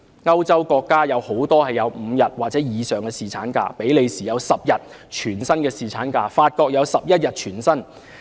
歐洲國家很多也有5天或以上的侍產假，比利時有10天全薪侍產假、法國有11天全薪侍產假。